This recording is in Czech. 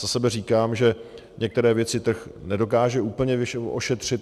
Za sebe říkám, že některé věci trh nedokáže úplně ošetřit.